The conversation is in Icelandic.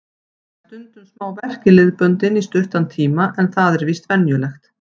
Fæ stundum smá verk í liðböndin í stuttan tíma en það er víst venjulegt.